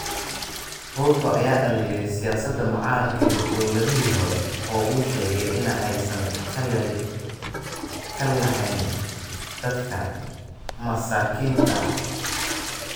Ruto ayaa dhaliilay siyaasadda mucaaradka iyo dowladihii hore oo uu sheegay in aysan dan ka lahayn dadka masaakiinta ah.